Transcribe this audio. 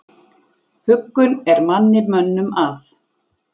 Huggun er manni mönnum að.